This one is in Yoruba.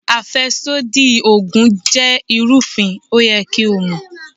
Àfẹ́sódì Ògùn jẹ́ ìrúfin, ó yẹ kí o mọ̀.